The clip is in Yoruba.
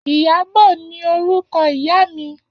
Iyabo ni órúkò ìyá mi